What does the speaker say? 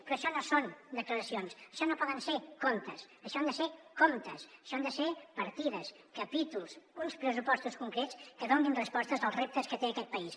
però això no són declaracions això no poden ser contes això han de ser comptes això han de ser partides capítols uns pressupostos concrets que donin respostes als reptes que té aquest país